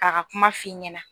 K'a ga kuma f'i ɲɛna